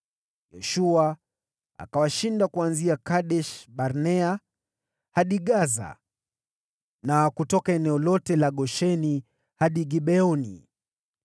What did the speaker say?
Yoshua akawashinda kuanzia Kadesh-Barnea hadi Gaza na kutoka eneo lote la Gosheni hadi Gibeoni.